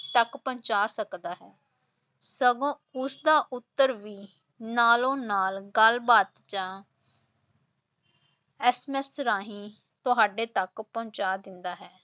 ਤਕ ਪਹੁੰਚਾ ਸਕਦਾ ਹੈ ਸਗੋਂ ਉਸਦਾ ਉੱਤਰ ਵੀ ਨਾਲੋ ਨਾਲ ਗੱਲਬਾਤ ਜਾਂ SMS ਰਾਹੀਂ ਤੁਹਾਡੇ ਤਕ ਪਹੁੰਚਾ ਦਿੰਦਾ ਹੈ।